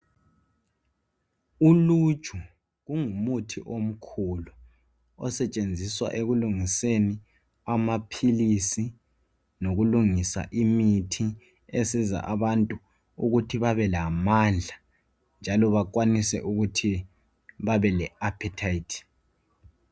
Uluju lungumuthi omkhulu osetshenzisa ekulungiseni amaphilisi lokulungisa imithi esiza abantu ukuthi babelamandla njalo bakwanise ukuthi babe le -appetite